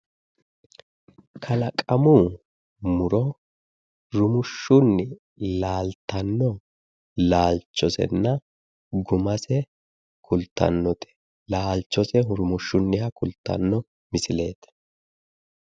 Kalaqamu muro rumushshunni laaltanno laalchosenna gumase kultannote. Laalchose rumushshunniha kultanno misileeti.